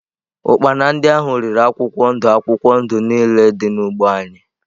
Ụkpana ahụ riri akwụkwọ ndụ akwụkwọ ndụ niile dị n’ugbo anyị.